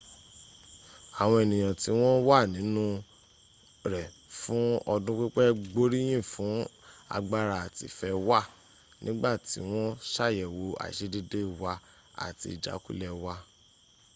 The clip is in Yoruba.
àwọn ẹnìyàn tí wọ́n wà nínu rl fún ọdún pípẹ́ gbóríyìn fún agbára àti ìfẹ́ wa nígbà tí wọ́n ṣàyẹ̀wó àìṣedédé wa àti ìjákulẹ̀ w